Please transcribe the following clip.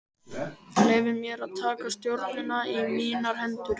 Leyfði mér að taka stjórnina í mínar hendur.